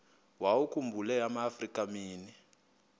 wawakhumbul amaafrika mini